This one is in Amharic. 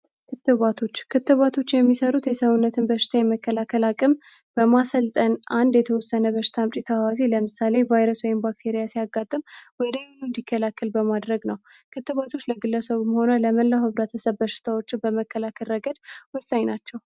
ክትባቶች የሚሠሩት የሰውነትን በሽታ የመከላከል አቅም በማሰልጠን አንድ የተወሰነ በሽታ ምጭ ተህዋስያ ለምሳሌ ቫይረስ ወይም ባክቴሪያ ሲያጋጥም ወዲያውኑ እንዲከላከል በማድረግ ነው ክትባቶች ለግለሰው መሆነ ለመላው ህብረተሰብ ሽታዎችን በመከላከል ረገድ ወሳኝ ናቸው።